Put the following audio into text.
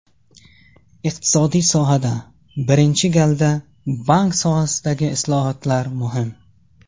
Iqtisodiy sohada, birinchi galda, bank sohasidagi islohotlar muhim.